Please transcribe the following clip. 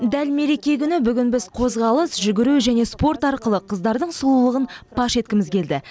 дәл мереке күні бүгін біз қозғалыс жүгіру және спорт арқылы қыздардың сұлулығын паш еткіміз келді